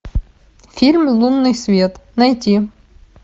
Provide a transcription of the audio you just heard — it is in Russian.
фильм лунный свет найти